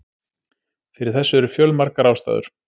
Fyrir þessu eru fjölmargar ástæður.